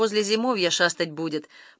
возле зимовья шастать будет